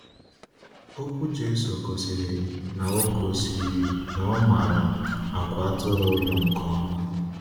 Okwu Jésù gosiri na gosiri na ọ maara àgwà atụrụ ụlọ nke ọma.